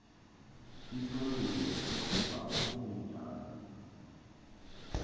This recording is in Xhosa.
isolulo sinokubakho kungenjalo